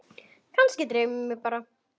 Kannski dreymdi mig bara.